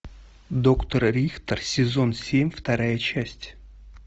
доктор рихтер сезон семь вторая часть